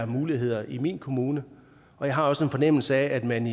muligheder i den pågældende kommune jeg har også en fornemmelse af at man